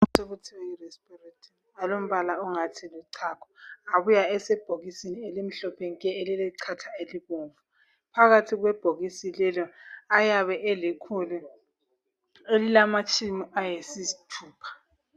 Amaphilisi okuthiwa yiRisperidone alombala ongathi luchago, abuya asebhokisini elimhlophe nke elilechatha elibomvu. Phakathi kwalelobhokisi amaphilisi ayabe elikhulu elilamatshumi ayisithupha.